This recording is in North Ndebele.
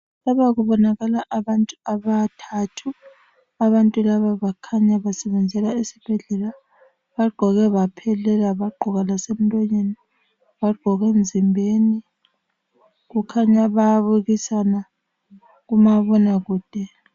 Lapha kubonakala abantu abathathu, abantu laba bakhanya basebenzela esibhedlela. Bagqoke baphelela, bagqoka lasemlonyeni, bagqoka emzimbeni. Kukhanya bayabukisana kumabonakude.